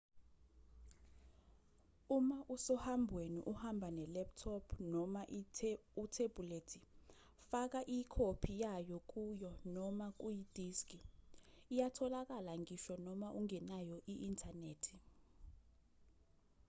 uma usohambweni uhamba ne-laptop noma uthebhulethi faka ikhophi yayo kuyo noma kuyidiski iyatholakala ngisho noma ungenayo i-inthanethi